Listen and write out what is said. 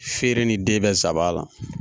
Feeren ni den bɛ zaban na